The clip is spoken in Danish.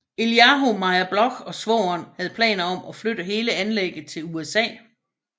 Eliahu Meir Bloch og svogeren havde planer om at flytte hele anlægget til USA